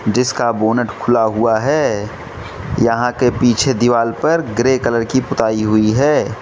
जिसका बोनट खुला हुआ है यहां के पीछे दीवाल पर ग्रे कलर की पुताई हुई है।